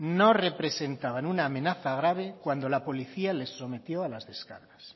no representaban una amenaza grave cuando la policía les sometió a las descargas